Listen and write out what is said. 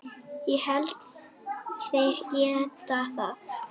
Ég held þeir geti það.